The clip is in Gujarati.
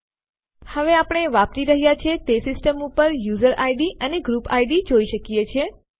હવે આપણે વાપરી રહ્યા છીએ તે સિસ્ટમ ઉપર યુઝર આઇડીએસ અને ગ્રુપ આઇડીએસ જોઈ શકીએ છીએ